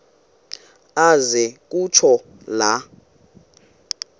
aze kutsho la